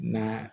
Na